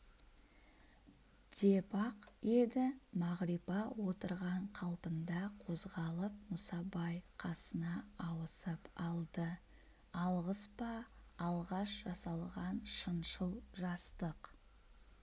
деп-ақ еді мағрипа отырған қалпында қозғалып мұсабай қасына ауысып алды алғыс па алғаш жасалған шыншыл жастық